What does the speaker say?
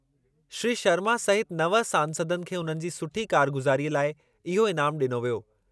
श्री शर्मा सहित नव सांसदनि खे उन्हनि जे सुठी कारगुज़ारीअ लाइ इहो इनामु ॾिनो वियो।